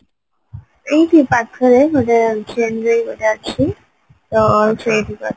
ଏଇଠି ପାଖରେ ଗୋଟେ chain way ଗୋଟେ ଅଛି ଅ ସେଇଠିକୁ